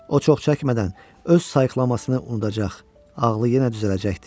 O çox çəkmədən öz sayıqlamasını unudacaq, ağlı yenə düzələcəkdi.